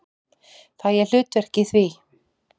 Fæ ég hlutverk í því?